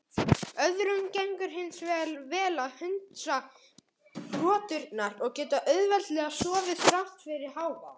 Öðrum gengur hins vegar vel að hundsa hroturnar og geta auðveldlega sofið þrátt fyrir hávaðann.